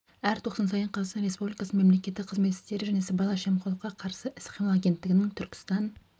әр тоқсан сайын қазақстан республикасының мемлекеттік қызмет істері және сыбайлас жемқорлыққа қарсы іс-қимыл агенттігінің түркістан